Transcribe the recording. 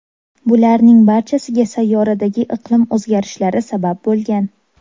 Bularning barchasiga sayyoradagi iqlim o‘zgarishlari sabab bo‘lgan.